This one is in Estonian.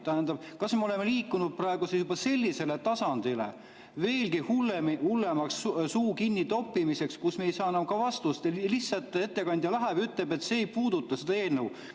Tähendab, kas me oleme liikunud praegu juba sellisele tasandile, veelgi hullema suu kinni toppimiseni, kus me ei saa enam ka vastust ja ettekandja lihtsalt ütleb, et see ei puuduta seda eelnõu?